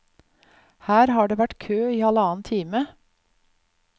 Her har det vært kø i halvannen time.